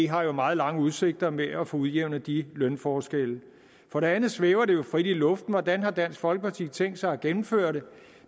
har meget lange udsigter med at få udjævnet de lønforskelle for det andet svæver det jo frit i luften hvordan dansk folkeparti har tænkt sig at gennemføre det